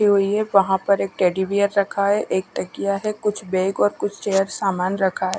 ये वही है वहां पर एक टेडी बेयर रखा है एक तकिया है कुछ बैग और कुछ चेयर सामान रखा है।